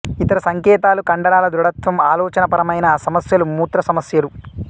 ఇతర సంకేతాలు కండరాల దృఢత్వం ఆలోచనా పరమైన సమస్యలు మూత్ర సమస్యలు